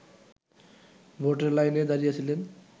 ভোটের লাইনে দাঁড়িয়েছিলেন